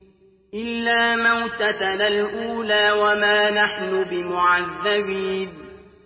إِلَّا مَوْتَتَنَا الْأُولَىٰ وَمَا نَحْنُ بِمُعَذَّبِينَ